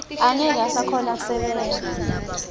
angeke usakhona kusebenta